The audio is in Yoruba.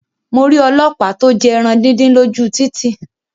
Mo rí ọlọ́pàá to jẹ ẹran díndín lóju títì